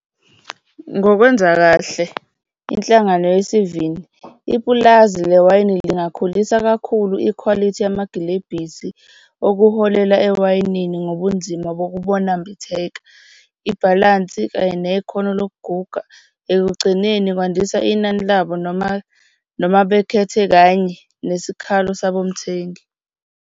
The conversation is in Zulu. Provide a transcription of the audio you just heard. Ngokwenza kahle, inhlangano ipulazi lewayini, zingakhulisa kakhulu ikhwalithi yamagilebhisi okuholela ewayinini ngobunzima bokubunambitheka, ibhalansi kanye nekhono lokuguga. Ekugcineni kwandisa inani labo noma noma bekhethe kanye nesikhalo sabomthengi.